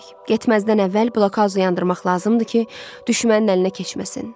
Getməzdən əvvəl blokauzu yandırmaq lazımdır ki, düşmənin əlinə keçməsin.